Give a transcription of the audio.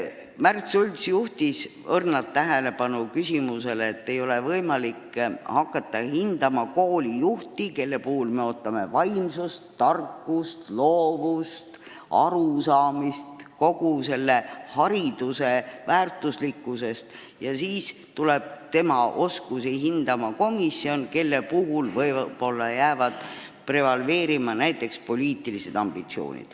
Märt Sults juhtis leebelt tähelepanu tõsiasjale, et ei ole võimalik hinnata objektiivselt koolijuhti, kellelt me ootame vaimsust, tarkust, loovust ja arusaamist hariduse väärtuslikkusest, kui hindamiskomisjon lähtub võib-olla eelkõige poliitilistest ambitsioonidest.